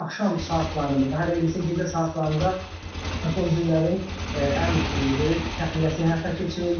Axşam saatlarında, daha dəqiq desək, gecə saatlarında son günlərin ən böyük təxliyəsi həyata keçirildi.